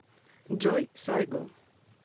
джой сайго